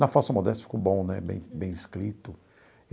Na falsa modéstia ficou bom né, bem bem escrito.